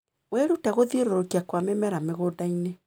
Wĩrute gũthiũrũrũkia kwa mĩmera mĩgũndainĩ.